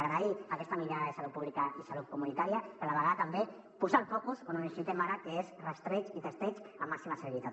agrair aquesta mirada de salut pública i salut comunitària però a la vegada també posar el focus on ho necessitem ara que és rastreig i testeig amb màxima celeritat